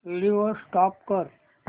video stop कर